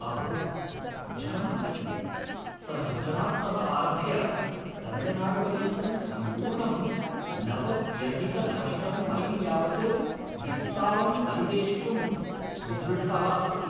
अहो, जानासि किं, सः गुजरात्तः आरभ्य तमिळनाडुपर्यन्तं सम्पूर्णं नवत्यधिकनवशतं मैल् यावत् विस्तारं परिवेष्टुं सुदृढः अस्ति।